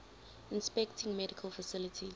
inspecting medical facilities